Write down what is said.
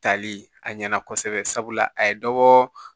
Tali a ɲɛna kosɛbɛ sabula a ye dɔ bɔ